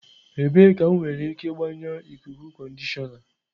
Ebee ka m nwere ike gbanyụọ ikuku conditioner?